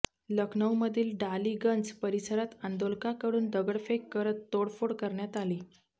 लखनऊमधील डालीगंज परिसरात आंदोलकाकडून दगडफेक करत तोडफोड करण्यात आली